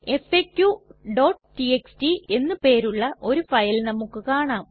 faqടിഎക്സ്ടി എന്ന് പേരുള്ള ഒരു ഫയൽ നമുക്ക് കാണാം